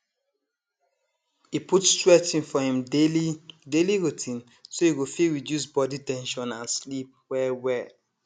e put stretching for im daily daily routine so e go fit reduce body ten sion and sleep well well